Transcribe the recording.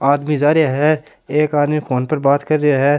आदमी जा रेहा है एक आदमी फ़ोन पर बात कर रिया है।